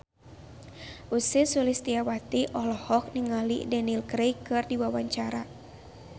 Ussy Sulistyawati olohok ningali Daniel Craig keur diwawancara